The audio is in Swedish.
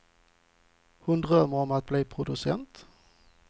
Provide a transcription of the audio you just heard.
Hon drömmer om att bli producent.